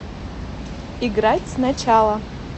играть сначала